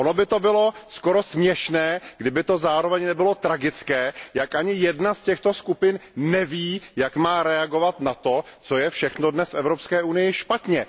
Ono by to bylo skoro směšné, kdyby to zároveň nebylo tragické, jak ani jedna z těchto skupin neví, jak má reagovat na to, co je všechno dnes v Evropské unii špatně.